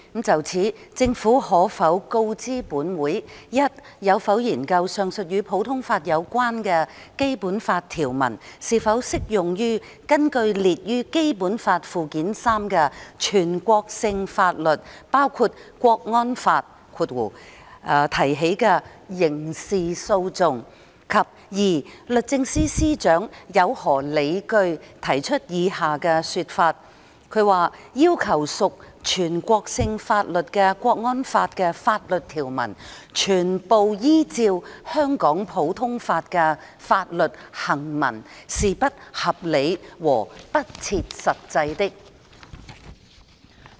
就此，政府可否告知本會：一有否研究，上述與普通法有關的《基本法》條文，是否適用於根據列於《基本法》附件三的全國性法律提起的刑事訴訟；及二律政司司長有何理據提出以下說法："要求屬全國性法律的《國安法》的法律條文全部依照香港普通法的法律行文是不合理和不切實際的"？